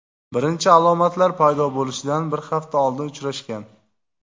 birinchi alomatlar paydo bo‘lishidan bir hafta oldin uchrashgan.